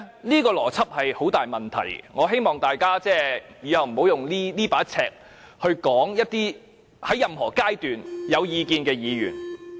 這個邏輯有很大問題，我希望大家以後不要用這把尺去批評在任何階段想表達意見的議員。